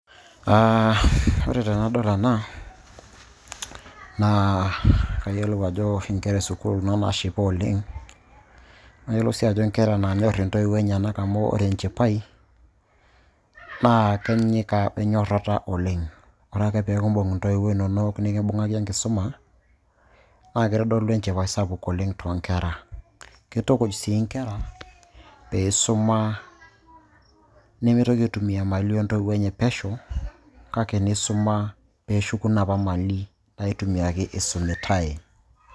Ore tenadol ena, naa kayiolou ajo nkera esukuul kuna naashipa oleng' nayiolou sii ajo nkera naanyorr intoiwuo enyenak amu ore enchipai naa kenyika wenyorrata oleng'. Ore ake pee kimbung' intoiwuo inonok nikimbung'aki enkisuma naa keitodolu enchipai sapuk oleng' toonkera, kitukuj sii nkera peisuma nemeitoki aitumia mali oontoiwuo enye pesho kake neisuma peeshuku inopa mali naitumiaki eisumitai.